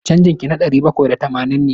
Canjin ki na ɗari bakwai da tamanin ne.